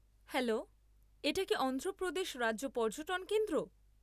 Hello, এটা কি অন্ধ্রপ্রদেশ রাজ্য পর্যটন কেন্দ্র?